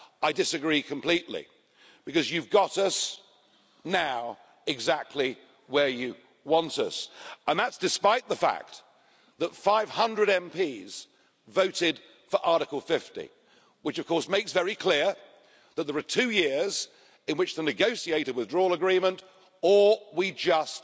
I disagree completely, because you've got us now exactly where you want us, and that is despite the fact that 500 MPs voted for Article 50, which of course makes it very clear that there are two years in which to negotiate a withdrawal agreement, or we just